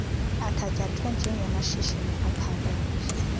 athatyathwe njengamashishini aphakathi